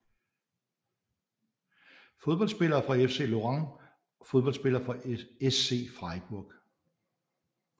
Fodboldspillere fra FC Lorient Fodboldspillere fra SC Freiburg